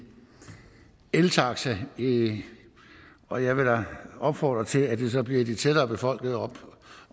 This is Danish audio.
eltaxa og jeg vil da opfordre til at det så bliver i de tættere befolkede